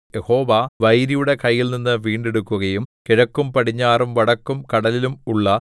യഹോവ വൈരിയുടെ കയ്യിൽനിന്ന് വീണ്ടെടുക്കുകയും കിഴക്കും പടിഞ്ഞാറും വടക്കും കടലിലും ഉള്ള